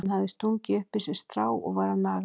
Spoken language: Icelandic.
Hann hafði stungið upp í sig strái og var að naga það.